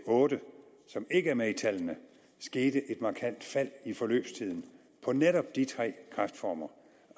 og otte som ikke er med i tallene skete et markant fald i forløbstiden på netop de tre kræftformer